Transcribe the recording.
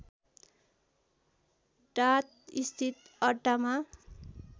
डात स्थित अड्डामा